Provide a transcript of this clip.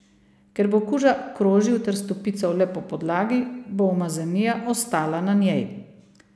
Ker bo kuža krožil ter stopical le po podlagi, bo umazanija ostala na njej.